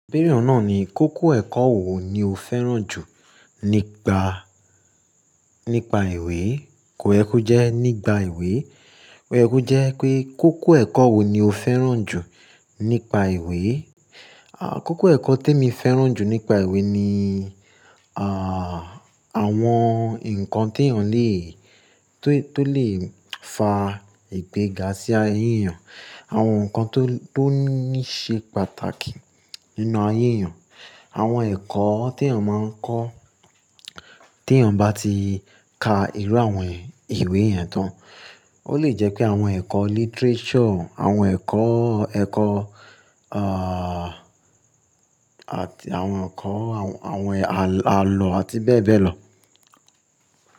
Ibere nà ni, kókó ẹ̀kọ́ wo ni o fẹ́ràn jù nípa, nípa ìwé? Kò yẹko jẹ nípà ìwé, òye ko jẹ pé kókó ẹ̀kọ́ wo ni o fẹ́ràn jù nípa ìwé? À, kókó ẹ̀kọ́ tí emi fẹ́ràn jù nípa ìwé ni, à, àwọn nǹkan tèyàn lè, tó lè fa ìgbéga sí ayé èyàn, àwọn nǹkan tó níí ṣe pàtàkì nínú ayé èyàn. Àwọn ẹ̀kọ́ tí èyàn máa ń kọ́, tí èyàn bá ti ka irú àwọn ìwé yẹn tán. Ó lè jẹ́ pé àwọn ẹ̀kọ́ literature, àwọn ẹ̀kọ́, ẹ̀kọ́, à, àti àwọn ẹ̀kọ́, àwọn àlọ́ àti bẹ́ẹ̀ bẹ́ẹ̀ lọ.